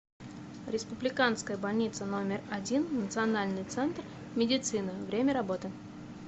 республиканская больница номер один национальный центр медицины время работы